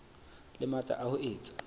le matla a ho etsa